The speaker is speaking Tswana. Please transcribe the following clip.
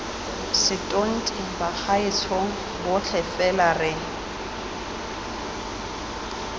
setonti bagaetshong botlhe fela re